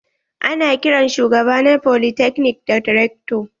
Ana kiran shugaba na folytekni da rector.